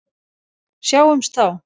Sjáumst þá!